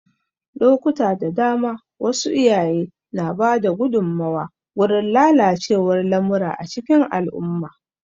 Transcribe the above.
Lokuta da dama, wasu iyaye na ba da gudunmawa gurin lalacewar lamura a cikin al'umma.